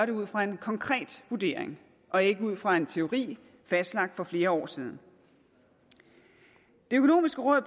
det ud fra en konkret vurdering og ikke ud fra en teori fastlagt for flere år siden det økonomiske råd